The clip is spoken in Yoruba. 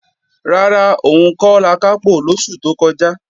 Rárá, òun kò lakápò lósù tó kọjá